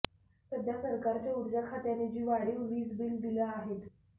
सध्या सरकारच्या ऊर्जा खात्याने जी वाढीव वीजबिलं दिली आहेत